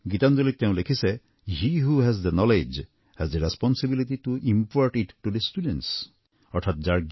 গীতাঞ্জলীত তেওঁ লিখিছে he who has the knowledge has the responsibility to impart it to the students